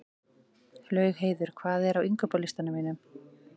Laugheiður, hvað er á innkaupalistanum mínum?